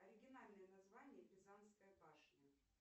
оригинальное название пизанская башня